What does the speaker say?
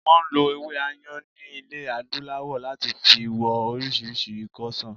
Wọn ń lo ewé Ayan ni ilẹ̀ adúláwò láti fi wo orísìírísìí ikọ́ ṣàn